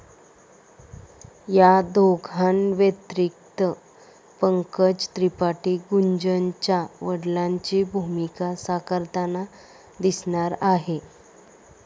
या दोघांव्यतिरिक्त पंकज त्रिपाठी गुंजनच्या वडिलांची भूमिका साकारताना दिसणार आहेत.